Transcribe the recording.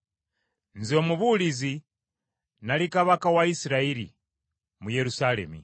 Nze Omubuulizi nali kabaka wa Isirayiri mu Yerusaalemi.